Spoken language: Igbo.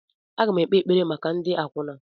M ga-ekpe ekpere maka ndị akwụna.